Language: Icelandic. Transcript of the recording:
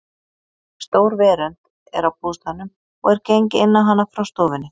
Stór verönd er á bústaðnum og er gengið inn á hana frá stofunni.